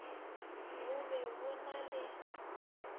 bo be bo na le